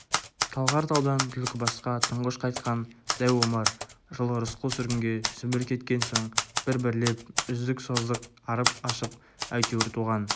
талғар таудан түлкібасқа тұңғыш қайтқан дәу омар жылы рысқұл сүргінге сібір кеткен соң бір-бірлеп үздік-создық арып-ашып әйтеуір туған